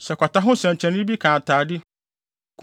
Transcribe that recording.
“Sɛ kwata ho nsɛnkyerɛnne bi ka atade,